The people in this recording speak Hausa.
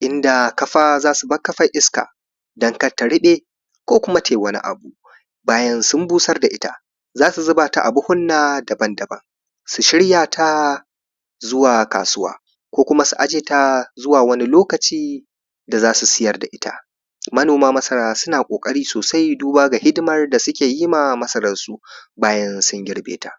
inda kafa zasu bar kafar iska don kada ta ruɓe ko kuma tai wani abu bayan sun busar da ita zasu zuba ta a buhunna daban-daban su shirya ta zuwa kasuwa ko kuma su aje ta zuwa wani lokaci da zasu siyar da ita manoma masara suna ƙoƙari sosai duba ga hidimar da suke yi ma masarar su bayan sun girbe